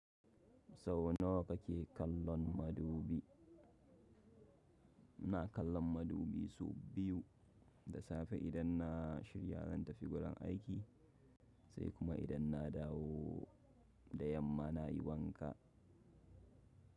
Sau nawa kake kallon madubi? Ina kallon madubi su biyu, da safe idan na shirya zan tafi gudan aiki, sai kuma idan na dawo da yamma na yi wanka.